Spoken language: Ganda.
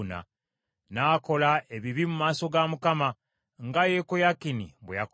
N’akola ebibi mu maaso ga Mukama , nga Yekoyakini bwe yakola.